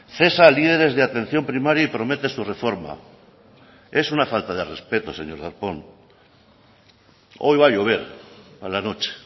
cesa a líderes de atención primaria y promete su reforma es una falta de respeto señor darpón hoy va a llover a la noche